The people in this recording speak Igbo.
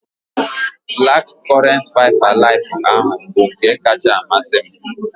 Black current five alive ahụ bụ nke kacha amasị m